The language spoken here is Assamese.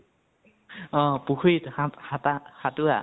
অ পুখুৰিত সাত সাতা সাতোৰা